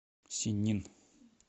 синнин